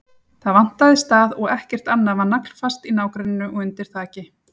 Það vantaði stað og ekkert annað var naglfast í nágrenninu og undir þaki.